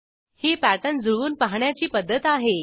ही pattern जुळवून पहाण्याची पध्दत आहे